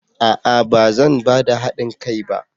A'a! Ba zan ba da hadin kai ba.